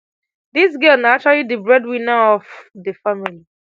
dis girl na actually di breadwinner um of di family